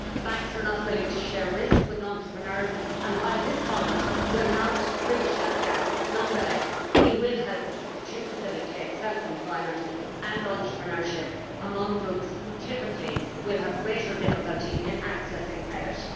Banks are not willing to share risk with entrepreneurs and, while this fund will not bridge that gap, nonetheless it will help to facilitate self employment and entrepreneurship among groups who typically will have greater difficulty in accessing credit.